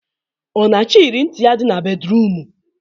Ọ na achọ iyere ntị ya dị na bedruum?